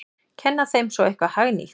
Kenna þeim svo eitthvað hagnýtt!